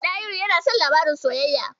Ɗahiru yana son labaran soyayya.